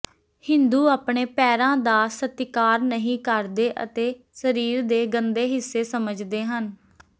ਹਿੰਦੂ ਆਪਣੇ ਪੈਰਾਂ ਦਾ ਸਤਿਕਾਰ ਨਹੀਂ ਕਰਦੇ ਅਤੇ ਸਰੀਰ ਦੇ ਗੰਦੇ ਹਿੱਸੇ ਸਮਝਦੇ ਹਨ